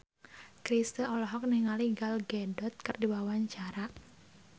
Chrisye olohok ningali Gal Gadot keur diwawancara